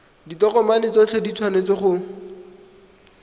ditokomane tsotlhe di tshwanetse go